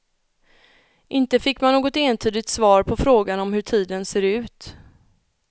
Inte fick man något entydigt svar på frågan om hur tiden ser ut.